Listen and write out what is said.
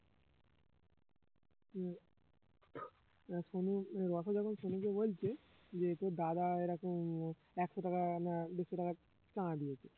আহ সনু রসো যখন সনুকে বলছে যে তোর দাদা এরকম একশো টাকা না দেড়শো টাকা চাঁদা দিয়েছে